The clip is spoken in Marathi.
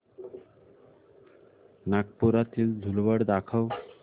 नागपुरातील धूलवड दाखव